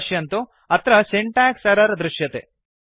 पश्यन्तु अत्र syntax error दृश्यते